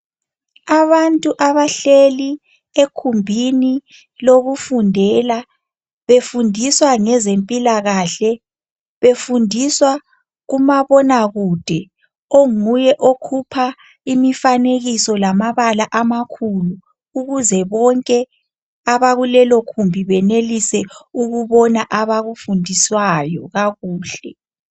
Abantu abahleli egumbini lokufundela, befundiswa ngezempilakahle. Befundiswa kumabonakude onguye okhupha imifanekiso lamabala amakhulu ukuze bonke abakulelogumbi benelise ukubona abakufundiswayo kakuhle.